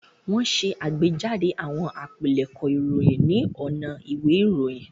Wọ́n ṣe àgbéjáde àwọn àpilẹ̀kọ ìròyìn ní ọ̀nà ìwé ìròyìn.